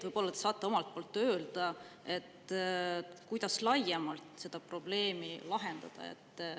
Võib-olla te saate öelda, kuidas seda probleemi laiemalt lahendada.